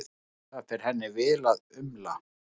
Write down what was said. Það fer henni vel að umla.